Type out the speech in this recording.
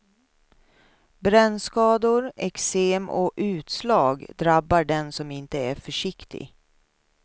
Brännskador, eksem och utslag drabbar den som inte är försiktig.